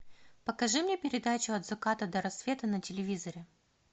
покажи мне передачу от заката до рассвета на телевизоре